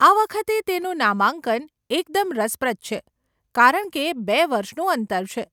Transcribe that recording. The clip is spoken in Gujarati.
આ વખતે તેનું નામાંકન એકદમ રસપ્રદ છે કારણ કે બે વર્ષનું અંતર છે.